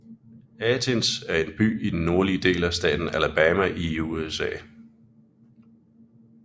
Athens er en by i den nordlige del af staten Alabama i USA